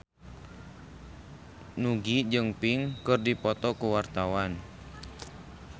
Nugie jeung Pink keur dipoto ku wartawan